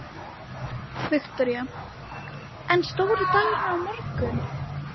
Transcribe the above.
Viktoría: En stóri dagurinn er á morgun?